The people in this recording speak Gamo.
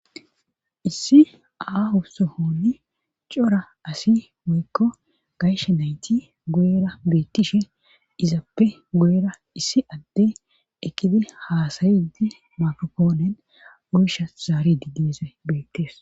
issi aaho sohoni cora asi woykko gayshe nayti gu7era beettishe izappe gu7era issi adde ekidi haasayidi makopoonen ursha zaari diggisa beettees